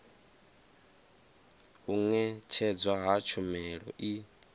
u ṅetshedzwa ha tshumelo i